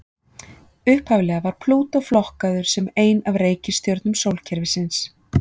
upphaflega var plútó flokkaður sem ein af reikistjörnum sólkerfisins